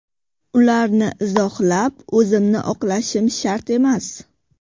Ularni izohlab, o‘zimni oqlashim shart emas.